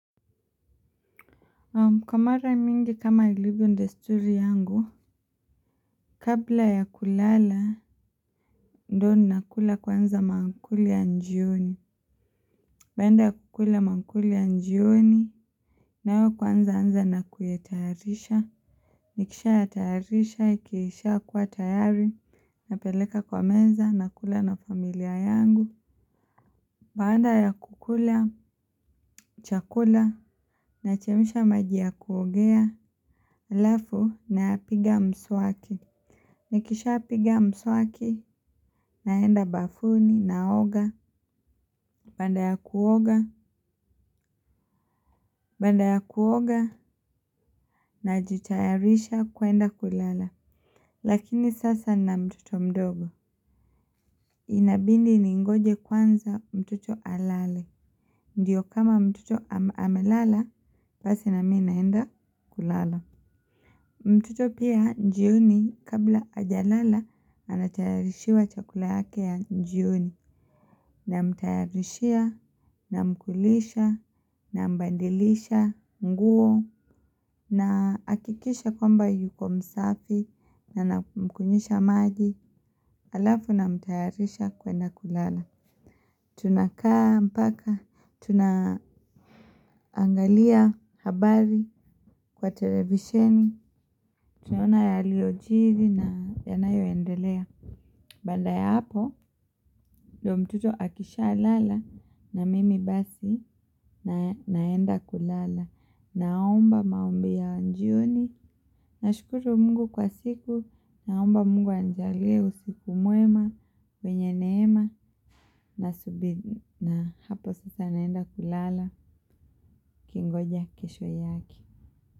Kwa mara mingi kama ilivyo ndesturi yangu, kabla ya kulala, ndo ninakula kwanza maankuli ya njioni. Baanda ya kukula mangkuli ya njioni, nao kwanza anza na kuyatayarisha. Nikishaya tayarisha, ikiisha kua tayari, napeleka kwa menza, nakula na familia yangu. Baanda ya kukula, chakula, na chemsha maji ya kuogea, alafu na piga mswaki. Nikisha piga mswaki, naenda bafuni, naoga, banda ya kuoga, banda ya kuoga, na jitayarisha kuenda kulala. Lakini sasa na mtoto mdogo, inabindi ningoje kwanza mtoto alale. Ndiyo kama mtoto amelala, pasi na mina enda kulala. Mtoto pia njioni kabla ajalala anatayarishiwa chakula yake ya njioni namtayarishia namkulisha nambadilisha nguo naakikisha kwamba yuko mfasi na namkunyisha maji alafu namtayarisha kwenda kulala tunakaa mpaka tunaangalia habari kwa televisheni tunaona yaliyojiri na yanayo endelea baada ya hapo ndo mtoto akishaa lala na mimi basi naenda kulala naomba maombi ya njioni nashukuru Mungu kwa siku naomba Mungu aninjalie usiku mwema mwenye neema na hapo sasa naenda kulala nkingoja kesho yake.